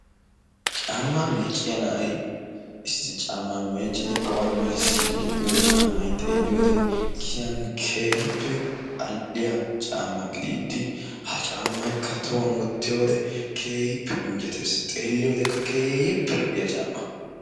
Caammaa meecciya na'ay issi caammaa meeccidi awan melissiidi de'iyo caammay xeeliyode giyan keehippe al"iya caammaa gidiidi ha caammaykka tohuwan wottiyode keehippe injjettees xeelliyodekka keehippe lo'iya caammaa.